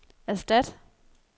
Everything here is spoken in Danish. erstat